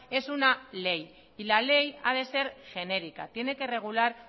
es una ley y la ley ha de ser genérica tiene que regular